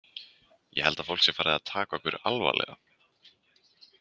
Ég held að fólk sé farið að taka okkur alvarlega.